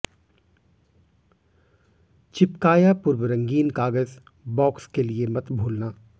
चिपकाया पूर्व रंगीन कागज बॉक्स के लिए मत भूलना